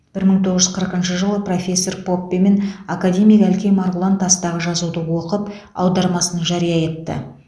бір мың тоғыз жүз қырықыншы жылы профессор поппе мен академик әлкей марғұлан тастағы жазуды оқып аудармасын жария етті